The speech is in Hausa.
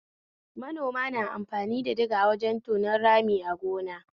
Manoma na amfani da diga wajen tonon rami a gona